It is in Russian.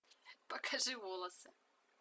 покажи волосы